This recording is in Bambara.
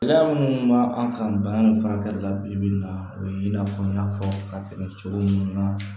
Gɛlɛya minnu b'a an kan bana in furakɛli la bi bi in na o ye i n'a fɔ n y'a fɔ ka tɛmɛ cogo min na